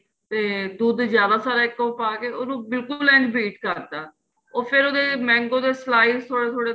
ਤੇ ਦੁੱਧ ਜਿਆਦਾ ਸਾਰਾ ਇੱਕੋ ਵਾਰ ਪਾਕੇ ਉਹਨੂੰ ਬਿਲਕੁਲ ਐਨ beet ਕਰਤਾ ਫ਼ੇਰ ਉਹਦੇ mango ਦੇ slide ਥੋੜੇ ਥੋੜੇ